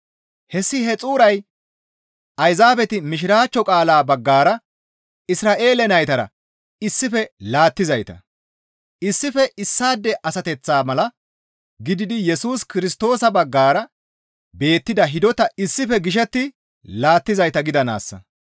Hessi he xuuray Ayzaabeti Mishiraachcho qaalaa baggara Isra7eele naytara issife laattizayta; issife issaade asateththa mala gididi Yesus Kirstoosa baggara beettida hidota issife gishetti laattizayta gidanaassa.